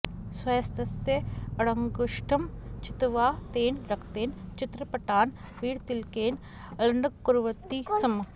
स्वहस्तस्य अङ्गुष्ठं छित्त्वा तेन रक्तेन चित्रपटान् वीरतिलकेन अलङ्कुर्वन्ति स्म